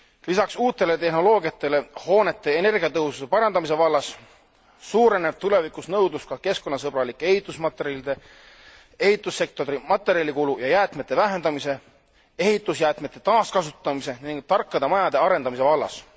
Lisaks uutele tehnoloogiatele hoonete energiatõhususe parandamise vallas suureneb tulevikus nõudlus ka keskkonnasõbralike ehitusmaterjalide, ehitussektori materjalikulu ja jäätmete vähendamise, ehitusjäätmete taaskasutamise ning tarkade majade arendamise vallas.